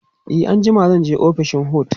e anjima zanje ofishin HOD